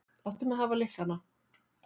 Láttu mig hafa lyklana.